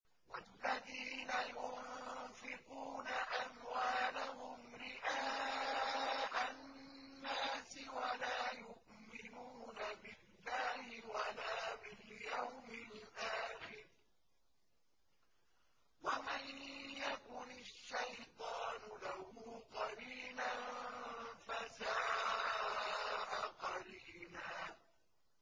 وَالَّذِينَ يُنفِقُونَ أَمْوَالَهُمْ رِئَاءَ النَّاسِ وَلَا يُؤْمِنُونَ بِاللَّهِ وَلَا بِالْيَوْمِ الْآخِرِ ۗ وَمَن يَكُنِ الشَّيْطَانُ لَهُ قَرِينًا فَسَاءَ قَرِينًا